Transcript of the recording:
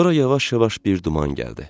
Sonra yavaş-yavaş bir duman gəldi.